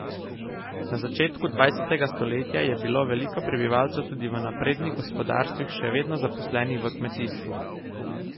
Na začetku dvajsetega stoletja je bilo veliko prebivalcev tudi v naprednih gospodarstvih še vedno zaposlenih v kmetijstvu.